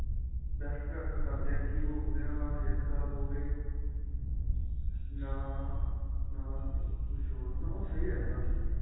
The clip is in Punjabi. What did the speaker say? best prefer ਕਰਦੇ ਆਂ ਕਿ ਉਹਦੇ ਨਾਲ ਨਾਂ ਸਿਹਤ ਖ਼ਰਾਬ ਹੋਵੇ ਨਾਂ ਨਾ ਕੁੱਛ ਹੋਰ ਹੈਨਾ ਉਹ ਸਹੀਂ ਰਹਿੰਦਾ ਆਪਣੇ ਲਈ